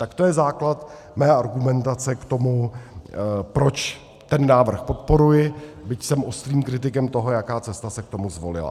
Tak to je základ mé argumentace k tomu, proč ten návrh podporuji, byť jsem ostrým kritikem toho, jaká cesta se k tomu zvolila.